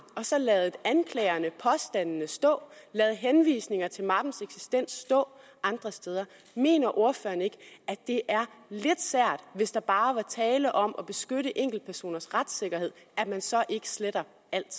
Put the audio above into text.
og så ladet anklagerne påstandene stå ladet henvisninger til mappens eksistens stå andre steder mener ordføreren ikke at det er lidt sært hvis der bare var tale om at beskytte enkeltpersoners retssikkerhed at man så ikke sletter